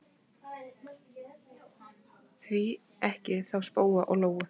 Því ekki þá spóa og lóu?